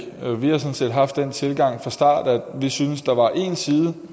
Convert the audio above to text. vi har sådan set haft den tilgang fra starten at vi synes der var en side